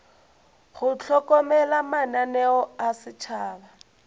go hlokomela mananeo a setšhaba